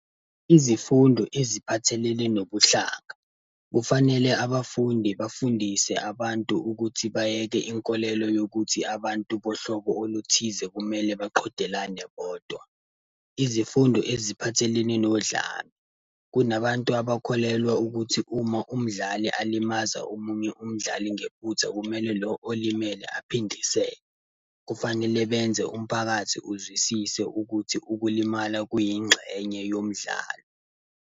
Izifundo eziphathelene nobuhlaka. Kufanele abafundi bafundise abantu ukuthi bayeke inkolelo yokuthi abantu bohlobo oluthize kumele baqhudelane bodwa. Izifundo eziphathelene nodlame. Kunabantu abakholelwa ukuthi uma umdlali alimaza omunye umdlali ngephutha, kumele lo olimele aphindise. Kufanele benze umphakathi uzwisise ukuthi ukulimala kuyingxenye yomdlalo.